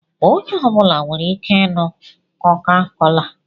Onye ọ bụla nwere ike ịnụ koka-kola